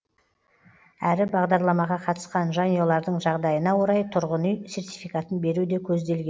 әрі бағдарламаға қатысқан жанұялардың жағдайына орай тұрғын үй сертификатын беру де көзделген